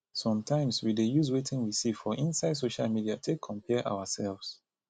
sometimes we dey use wetin we see for inside social media take compare ourselves